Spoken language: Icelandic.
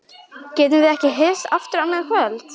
Getum við ekki hist aftur annað kvöld?